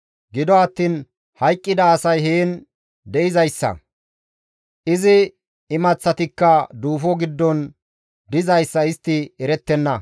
Gido attiin hayqqida asay heen de7izayssa, izi imaththatikka duufo giddon dizayssa istti erettenna.